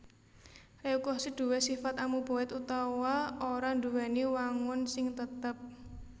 Leukosit duwé sifat amuboid utawa ora nduwèni wangun sing tetep